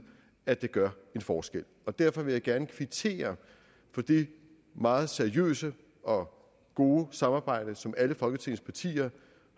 at det gør en forskel derfor vil jeg gerne kvittere for det meget seriøse og gode samarbejde som alle folketingets partier